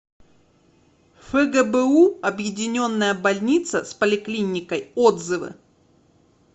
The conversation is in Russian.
фгбу объединенная больница с поликлиникой отзывы